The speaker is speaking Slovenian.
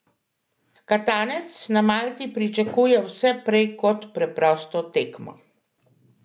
Katanec na Malti pričakuje vse prej kot preprosto tekmo.